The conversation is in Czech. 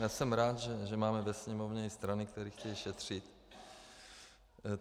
Já jsem rád, že máme ve Sněmovně i strany, které chtějí šetřit.